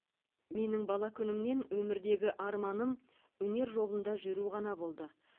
менің бала күнімнен өмірдегі арманым өнер жолында жүру ғана болды